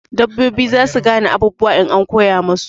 Dabbobi zasu gane abubuwa in an koya musu